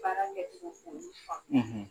Baara kɛ so ani fan